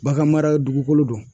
Bagan mara dugukolo don.